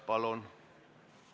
Palun!